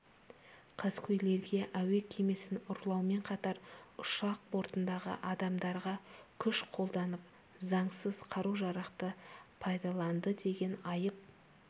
қаскөйлерге әуе кемесін ұрлаумен қатар ұшақ бортындағы адамдарға күш қолданып заңсыз қару-жарақты пайдаланды деген айып